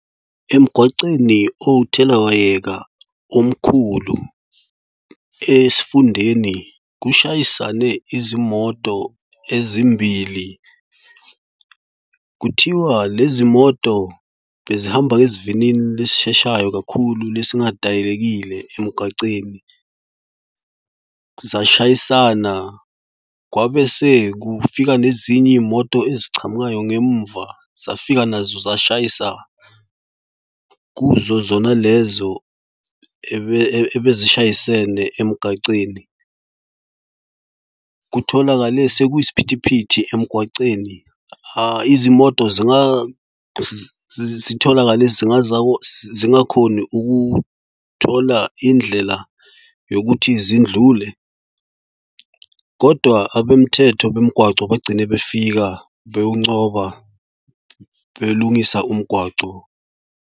Emgwaceni owuthelawayeka omkhulu esifundeni kushayisane izimoto ezimbili. Kuthiwa lezi moto bezihamba ngesivinini lesisheshayo kakhulu. Lesi ngadayekile emgaceni zashayisana kwabe sekufika nezinye iy'moto ezichamukayo ngemuva zafika nazo zashayisa kuzo zona lezo ebezishayisene emgaceni. Kutholakale sekuyisiphithiphithi emgwaceni. Hha izimoto zitholakale zingakhoni ukuthola indlela yokuthi zindlule kodwa abemthetho bemigwaco bagcine befika beyoncoba belungisa umgwaco.